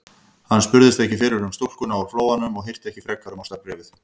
Hann spurðist ekki fyrir um stúlkuna úr Flóanum og hirti ekki frekar um ástarbréfið.